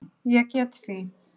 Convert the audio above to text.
Ég get því